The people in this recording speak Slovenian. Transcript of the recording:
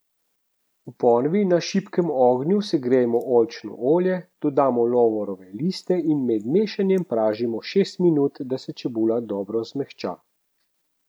V ponvi na šibkem ognju segrejemo oljčno olje, dodamo lovorove liste in med mešanjem pražimo šest minut, da se čebula dobro zmehča.